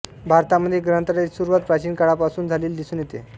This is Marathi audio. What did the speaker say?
भारतामध्ये ग्रंथालयाची सुरुवात प्राचीन कालपासूनच झालेली दिसून येते